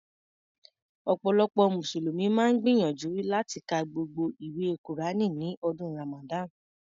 Ọ̀pọ̀lọpọ̀ mùsùlùmí máa ń gbìyànjú láti ka gbogbo ìwé kùránì ní ọdún Ràmàdánì.